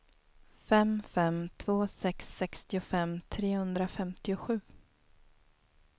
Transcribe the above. fem fem två sex sextiofem trehundrafemtiosju